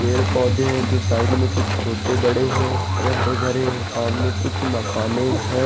पेड़ पौधे है जो साइड में कुछ बड़े छोटे हैं वह हरे भरे हैं सामने कुछ मकाने है।